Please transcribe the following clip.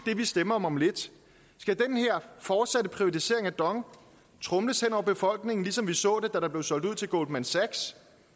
det vi stemmer om om lidt skal den her fortsatte privatisering af dong tromles hen over befolkningen ligesom vi så det da der blev solgt ud til goldman sachs